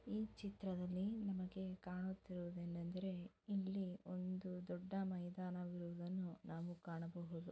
ಈ ಚಿತ್ರದಲ್ಲಿ ನಮಗೆ ಕಾಣುತ್ತಿರುವುದೇನೆಂದರೆ ಇಲ್ಲಿ ಒಂದು ದೊಡ್ಡ ಮೈದಾನವಿರುವುದನ್ನು ನಾವು ಕಾಣಬಹುದು.